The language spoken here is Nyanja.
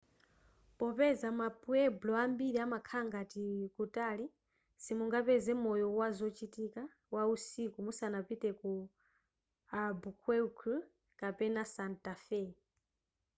popeza ma pueblo ambiri amakhala ngati kutali simungapeze moyo wazochitika wausiku musanapite ku albuquerque kapena santa fe